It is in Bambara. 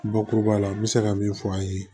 Bakuruba la n bɛ se ka min fɔ an ye